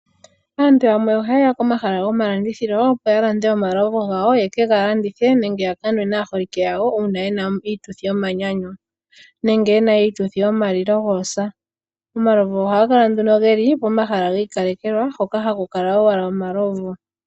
Aantu yamwe ohaye ya komahala gomalandithilo opo yalande omalovu gawo yeke ga landithe nenge ya kanwe naaholike yawo uuna yena uututhi yomanyanyu nenge yena iituthi yoma lilo goosa omalovu ohaga kala nduno geli pomahala gi kalekelwa hoka ohaku kala owala omalovu.